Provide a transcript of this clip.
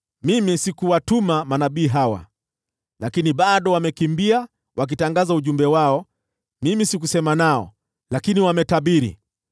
Mimi sikuwatuma manabii hawa, lakini bado wamekimbia wakitangaza ujumbe wao. Mimi sikusema nao, lakini wametabiri.